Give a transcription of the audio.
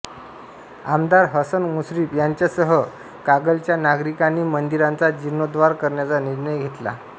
आमदार हसन मुश्रीफ यांच्यासह कागलच्या नागरिकांनी मंदिराचा जीर्णोद्धार करण्याचा निर्णय घेतला